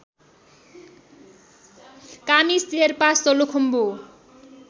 Kami Sherpa Solukhumbu